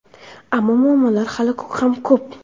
ammo muammolar hali ham ko‘p.